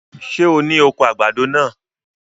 Ṣé o ni oko àgbàdo náà?